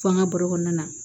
Fo an ka baro kɔnɔna na